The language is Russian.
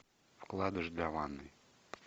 вкладыш для ванной